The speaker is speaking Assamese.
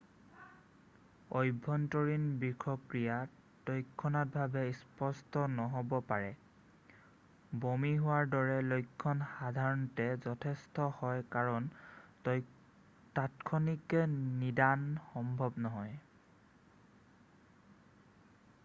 আভ্য়ন্তৰীণ বিষক্ৰিয়া তাৎক্ষণিকভাৱে স্পষ্ট নহ'ব পাৰে বমি হোৱাৰ দৰে লক্ষণ সধাৰণতে যথেষ্ট হয় কাৰণ তাৎক্ষণিক নিদান সম্ভৱ নহয়